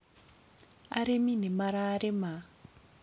arĩmi nĩ mararĩma